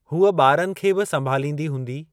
हूअ ॿारनि खे बि संभालींदी हूंदी ?